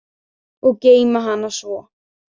Og geyma hana svo.